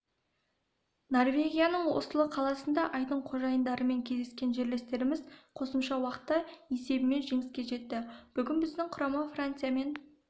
норвегияның осло қаласында айдын қожайындарымен кездескен жерлестеріміз қосымша уақытта есебімен жеңіске жетті бүгін біздің құрама франциямен